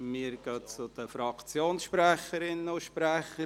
Wir kommen zu den Fraktionssprecherinnen und -sprechern.